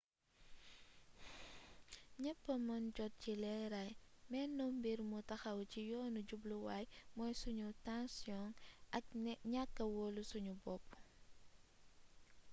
ñépp a mën jot ci leeraay mennum mbir mu taxaw ci yoonu jubluwaay mooy sunu taasiyoŋ ak ñakka woolu sunu bopp